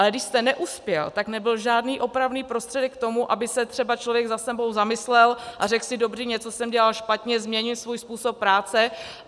Ale když jste neuspěl, tak nebyl žádný opravný prostředek k tomu, aby se třeba člověk nad sebou zamyslel a řekl si, dobrý, něco jsem dělal špatně, změnil svůj způsob práce.